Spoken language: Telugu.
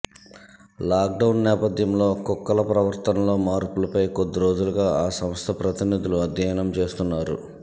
లాక్డౌన్ నేపథ్యంలో కుక్కల ప్రవర్తనలో మార్పులపై కొద్ది రోజులుగా ఆ సంస్థ ప్రతినిధులు అధ్యయనం చేస్తున్నారు